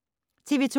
TV 2